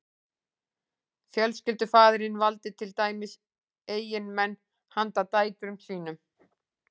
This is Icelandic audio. fjölskyldufaðirinn valdi til dæmis eiginmenn handa dætrum sínum